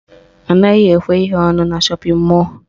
Anaghị ekwe ihe ọnụ na shọpịn mọlụ